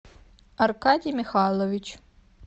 аркадий михайлович